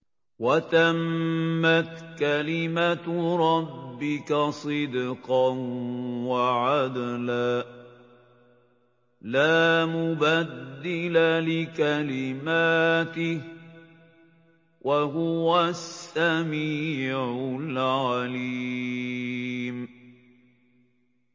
وَتَمَّتْ كَلِمَتُ رَبِّكَ صِدْقًا وَعَدْلًا ۚ لَّا مُبَدِّلَ لِكَلِمَاتِهِ ۚ وَهُوَ السَّمِيعُ الْعَلِيمُ